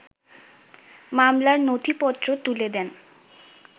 মামলার নথিপত্র তুলে দেন